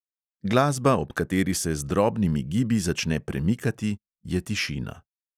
Glasba, ob kateri se z drobnimi gibi začne premikati, je tišina.